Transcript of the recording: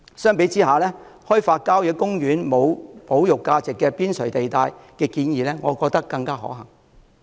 相比之下，我覺得開發郊野公園無保育價值的邊陲地帶的建議更可行。